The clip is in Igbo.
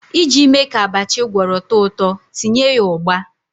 Iji mee ka abacha ị gwọrọ too ụtọ, tinye ya ugba.